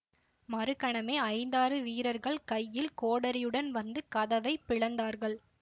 மறுகணமே ஐந்தாறு வீரர்கள் கையில் கோடரியுடன் வந்து கதவை பிளந்தார்கள்